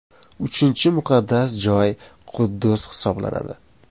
Uchinchi muqaddas joy – Quddus hisoblanadi.